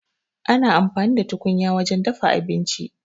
Ana amfani da tukunya wajen dafa abinci.